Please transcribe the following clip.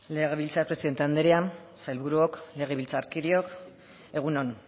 legebiltzar presidente andrea sailburuok legebiltzarkideok egun on